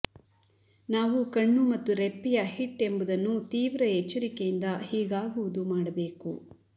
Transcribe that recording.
ನಾವು ಕಣ್ಣು ಮತ್ತು ರೆಪ್ಪೆಯ ಹಿಟ್ ಎಂಬುದನ್ನು ತೀವ್ರ ಎಚ್ಚರಿಕೆಯಿಂದ ಹೀಗಾಗುವುದು ಮಾಡಬೇಕು